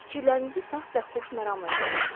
Fikirlərinizi saf və xoşməramla yükləyin.